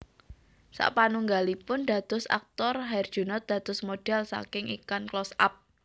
Sapanunggalipun dados aktor Herjunot dados model saking iklan Close Up